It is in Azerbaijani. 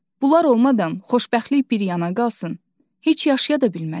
Bunlar olmadan xoşbəxtlik bir yana qalsın, heç yaşaya da bilməzlər.